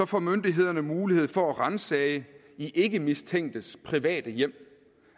får myndighederne mulighed for at ransage ikkemistænkes private hjem